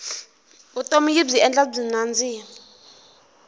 vutomi yibyi endla byi nandzika